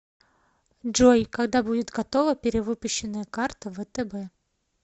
джой когда будет готова перевыпущенная карта втб